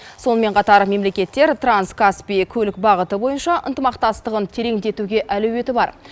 сонымен қатар мемлекеттер транскаспий көлік бағыты бойынша ынтымақтастығын тереңдетуге әлеуеті бар